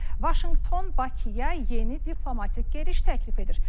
Vaşinqton Bakıya yeni diplomatik gediş təklif edir.